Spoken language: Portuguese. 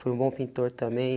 Foi um bom pintor também.